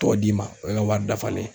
tɔ d'i ma o y'e ka wari dafalen ye.